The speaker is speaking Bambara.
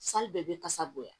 bɛɛ bɛ kasa bonya